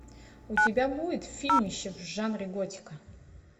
у тебя будет фильмище в жанре готика